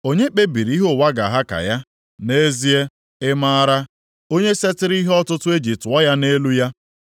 Onye kpebiri ihe ụwa ga-aha ka ya? Nʼezie ị maara, onye setịrị ihe ọtụtụ e ji tụọ ya nʼelu ya?